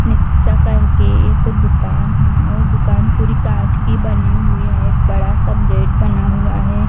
निस कर के एक दुकान है और दुकान पूरी काँच की बनी हुई है एक बड़ा सा गेट बना हुआ है।